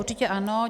Určitě ano.